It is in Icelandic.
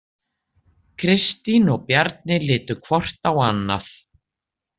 Kristín og Bjarni litu hvort á annað.